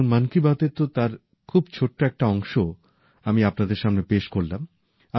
এখন মন কি বাতএ তো তার খুব ছোট্ট একটা অংশ আমি আপনাদের সামনে পেশ করলাম